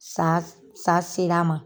Sa sa ser'a ma.